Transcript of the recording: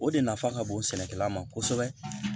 O de nafa ka bon sɛnɛkɛla ma kosɛbɛ